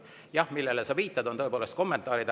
Jah, need, millele sa viitad, on tõepoolest kommentaarid.